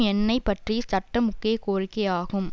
எண்ணெய் பற்றிய சட்டம் முக்கிய கோரிக்கையாகும்